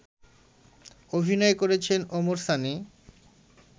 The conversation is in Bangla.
অভিনয় করেছেন ওমর সানি